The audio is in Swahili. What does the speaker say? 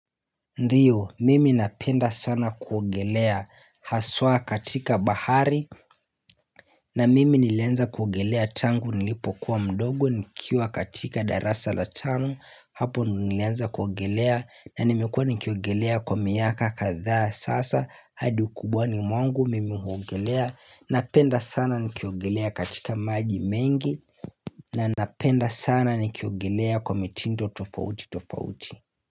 Ndiyo mimi napenda sana kuogelea haswa katika bahari. Na mimi nilianza kuogelea tangu nilipokuwa mdogo nikiwa katika darasa la tano. Hapo nilianza kuogelea na nimekuwa nikiogelea kwa miaka kadha sasa hadi ukubwani mwangu, mimi huogelea. Napenda sana nikiogelea katika maji mengi. Na napenda sana nikiogelea kwa mitindo tofauti tofauti.